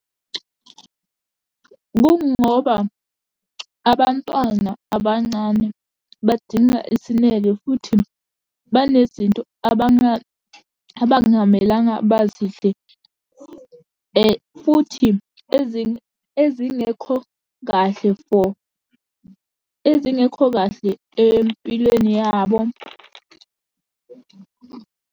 Kungoba abantwana abancane badinga isineke, futhi banezinto abangamelanga, bazidle, futhi ezinye ezingekho kahle for ezingekho kahle empilweni yabo.